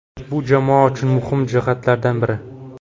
Bu jamoa uchun muhim jihatlardan biri.